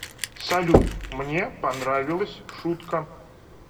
салют мне понравилась шутка